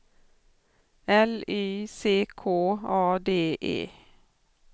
L Y C K A D E